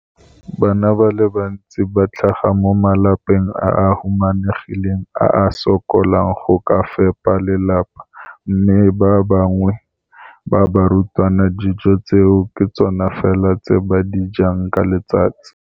Bana ba le bantsi ba tlhaga mo malapeng a a humanegileng a a sokolang go ka fepa ba lelapa mme ba bangwe ba barutwana, dijo tseo ke tsona fela tse ba di jang ka letsatsi.